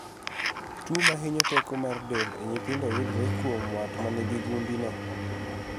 . Tuo mahinyo teko mar del e nyithindo yudore kuom wat manigi gundi no